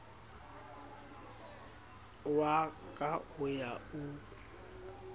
wa ka o ya o